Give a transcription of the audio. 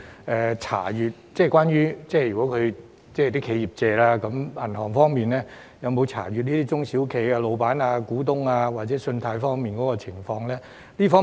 我想詢問，如果企業申請借貸，銀行會否查閱中小企的老闆或股東的信貸資料？